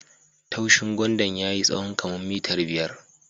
Tushin gwandan ya yi tsawo kaman mitar biyar.